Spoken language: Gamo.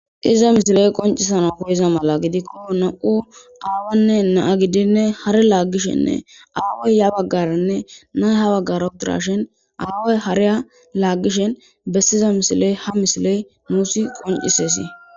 Iza misiley qoncisana hoyeza mala gidikko nam'u aawanne naa gidinne har laaggishenne aawoy ya baggaranne nay ha baggar udirashin aawoy hareya laaggishen bessiza misiley ha misiley muusi qoncisesi